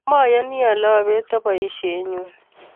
Matyani ale abeti boishennyu